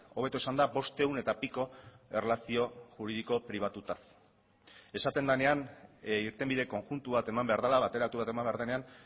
hobeto esanda bostehun eta piko erlazio juridiko pribatutaz esaten denean irtenbide konjuntu bat eman behar dela bateratu bat eman behar denean